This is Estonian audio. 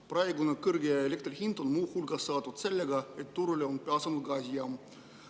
Praegu on elektri hind kõrge muu hulgas selle pärast, et turule on pääsenud gaasijaam.